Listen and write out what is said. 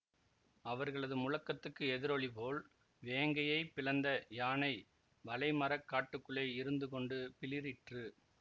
அவர்ளது முழக்கத்துக்கு எதிரொலி போல் வேங்கையைப் பிளந்த யானை வழைமரக் காட்டுக்குள்ளே இருந்துகொண்டு பிளிறிற்று